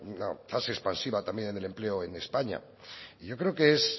fase expansiva también del empleo en españa y yo creo que